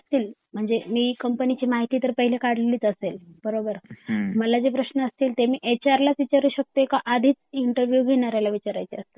मी company ची माहिती तर आधी काढलेली असेल बरोबर मला जे प्रश्न असतील ते मी एच आर लाच विचारू शकते की आधीच इंटरव्ह्यु घेणाऱ्याला विचारायचे असतात